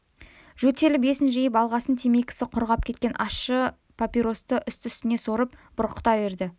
жөтеліп есін жиып алғасын темекісі құрғап кеткен ащы папиросты үсті-үстіне сорып бұрқырата берді